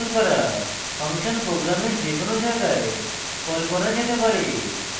function প্রোগ্রামের যে কোনো জায়গায় কল করা যেতে পারে